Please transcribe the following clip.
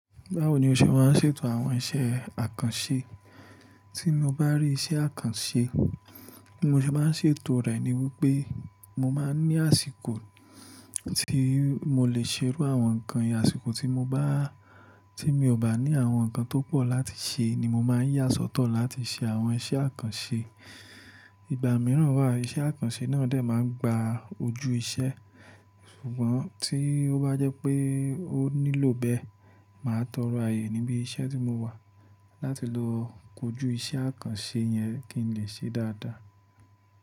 Báwo ni o ṣe máa ń ṣètò àwọn iṣẹ́ àkànṣe? Tí mo bá rí iṣẹ́ àkànṣe, bí mo ṣe máa ń ṣètò rẹ̀ ni wípé mo máa ń ní àsìkò tí mo lè ṣe irú àwọn nǹkan yen Àsìkò tí mo bá, tí mi ò bá ní àwọn nǹkan tó pọ̀ láti ṣe ni mo máa ń yà sọ́tọ̀ láti ṣe àwọn iṣẹ́ àkànṣe. Ìgbà mìíràn wá, iṣẹ́ àkànṣe náà dè máa ń gba ojú iṣẹ́. Ṣùgbọ́n tí ó bá jẹ́ pé ó nílò bẹ́ẹ̀, màá tọrọ ààyè níbí iṣẹ́ tí mo wà láti lo kojú iṣẹ́ àkànṣe yẹn kí n lè ṣe dáadáa.